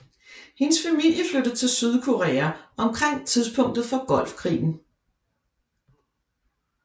Hendes familie flyttede til Sydkorea omkring tidspunktet for Golfkrigen